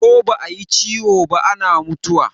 Ko ba a yi ciwo ba ana mutuwa.